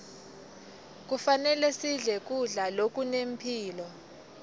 kufanele sidle kudla lokunemphilo